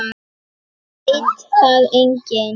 Veit það enginn?